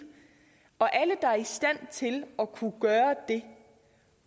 og alle der er i stand til at kunne gøre det